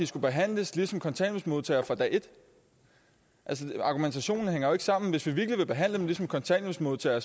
skal behandles ligesom kontanthjælpsmodtagere altså argumentationen hænger ikke sammen for hvis vi virkelig vil behandle dem som kontanthjælpsmodtagere